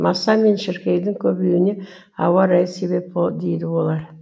маса мен шіркейдің көбеюіне ауа райы себеп дейді олар